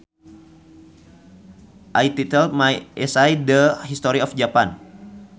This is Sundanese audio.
I titled my essay The History of Japan